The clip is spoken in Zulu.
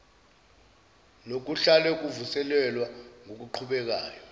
nokuhlale kuvuselelwa ngokuqhubekayo